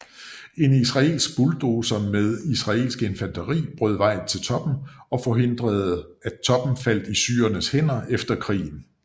En israelsk bulldozer med israelsk infanteri brød vej til toppen og forhindrede at toppen faldt i syrernes hænder efter krigen